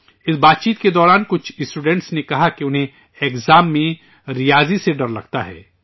اس چرچہ کے دوران کچھ اسٹوڈنٹ نے کہا کہ انہیں امتحان میں ریاضی سے ڈر لگتا ہے